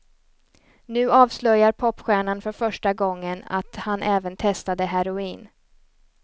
Nu avslöjar popstjärnan för första gången att han även testade heroin.